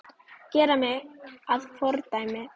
Gera mig að fordæmi?